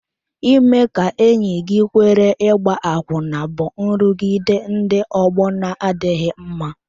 Ime ka enyi gị kwere ịgba akwụna bụ nrụgide ndị ọgbọ na-adịghị mma.